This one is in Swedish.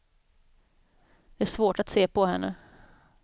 Det är svårt att se på henne.